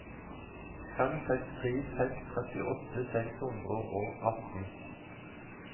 fem seks tre seks trettiåtte seks hundre og atten